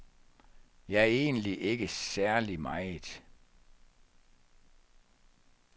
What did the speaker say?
Ja, egentlig ikke særlig meget.